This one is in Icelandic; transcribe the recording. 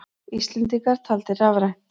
Íslendingar taldir rafrænt